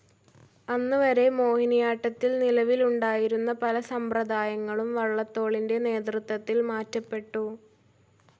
അന്ന് വരെ മോഹിനിയാട്ടത്തിൽ നിലവിലുണ്ടായിരുന്ന പല സമ്പ്രദായങ്ങളും വള്ളത്തോളിൻ്റെ നേതൃത്വത്തിൽ മാറ്റപ്പെട്ടു.